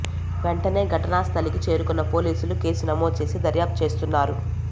వెంటనే ఘటనా స్థలికి చేరుకున్న పోలీసులు కేసు నమోదు చేసి దర్యాప్తు చేస్తున్నారు